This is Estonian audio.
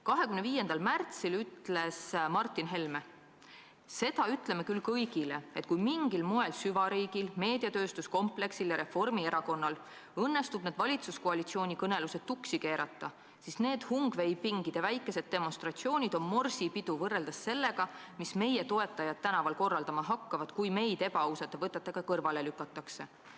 25. märtsil ütles Martin Helme: "Seda ütleme küll kõigile, et kui mingil moel süvariigil, meediatööstuskompleksil ja Reformierakonnal õnnestub need valitsuskoalitsiooni kõnelused tuksi keerata, siis need hungveipingide väikesed demonstratsioonid on morsipidu võrreldes sellega, mis meie toetajad tänaval korraldama hakkavad, kui meid ebaausate võtetega kõrvale lükatakse.